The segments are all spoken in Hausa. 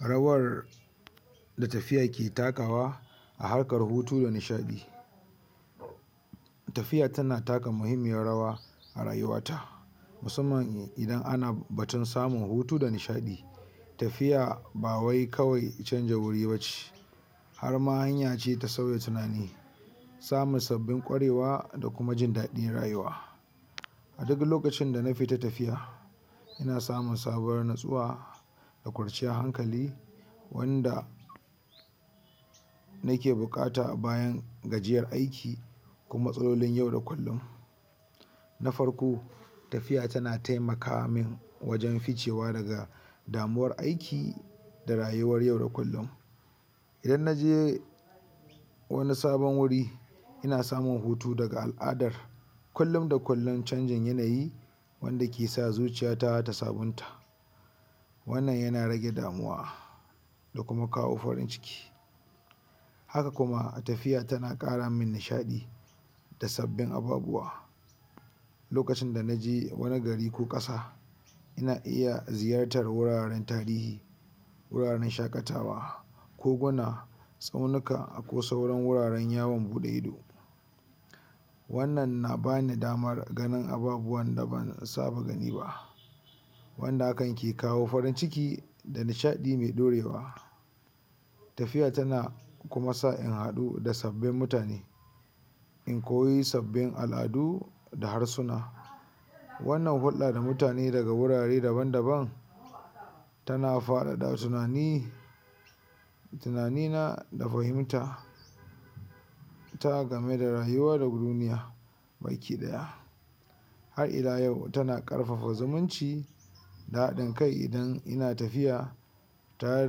rawar da tafiya ke takawa a harkar hutu da nishaɗi tafiya tana taka mahimmiyar rawa a rayuwata musamman idan ana batun samun hutu da nishaɗi tafiya bawai kawai canja wuri bace harma hanya ce ta sauya tunani samun sabbin kwarewa da kuma jin daɗin rayuwa. a duk lokacin dana fita tafiya ina samun sabuwar natsuwa da kwanciyar hankali wanda nake buƙata bayan gajiyar aiki ko matsalolin yau da kullun na farko tafiya tana taimaka minwajen ficewa daga damuwar aiki da rayuwar yau da kullun. idan naje wani sabon wuri ina samun hutu daga al'adar kullun da kullun canjin yanayi wanda kesa zuciyata ta sabunta wannan yana rage damuwa da kuma kawo farin ciki. haka kuma tafiya tana ƙara min nishaɗi da sabbin ababuwa lokacin da naje wani gari ko ƙasa ina iya ziyartar wuraren tarihi wuraren shaƙatawa koguna tsaunika ko sauran wuraren yawon buɗe ido annan na bani damar ganin ababuwan da ban saba gani ba wanda hakan ke kawo farin ciki da nishaɗi mai ɗorewa tafiya tana kuma sa in haɗu da abbin mutane in koyi sabbin al'adu da harsuna wanna hulɗa da mutane daga wurare daban daban tana faɗaɗa tunani tunani na da fahimta ta game da rayuwar duniya baki ɗaya har ila yau tana ƙarfafa zumunci da haɗin kai idan ina tafiya tare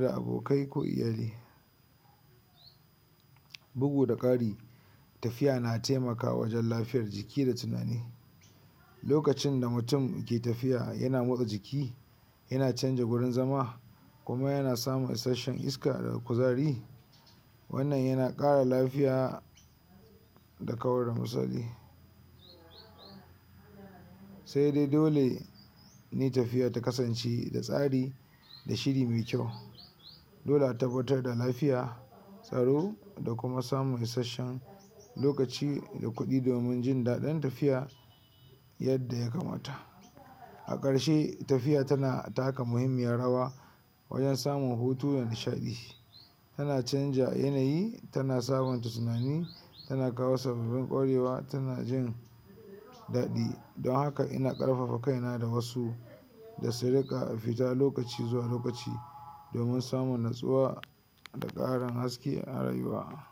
da abokai ko iyali. bugu da ƙari tafiya na taimakawa wajen lafiyar jiki da tunani. lokacin da mutum ke tafiya yana motsa jiki yana canja gurin zama kuma yana samun isashen iska da kuzari wannan yana ƙara lafiya da kawar misali saidai dole ni tafiya ta kasance da tsari da shiri mai kyau dole a tabbatar da lafiya tsaro da kuma samun isashen lokaci da kuɗi domin jin daɗin tafiya yadda ya kamata a ƙarshe tafiya tana taka mahimmiyar rawa wajen samun hutu da nishaɗi tana canja yanayi tana sabunta tunani tana kawo sababbin ƙwarewa tana jin dadi don haka ina ƙarfafa kaina da wasu da su riƙa fita lokaci zuwa lokaci domin samun natsuwa da haske a rayuwa.